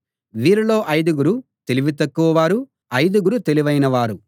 వీరిలో ఐదుగురు తెలివి తక్కువ వారు ఐదుగురు తెలివైన వారు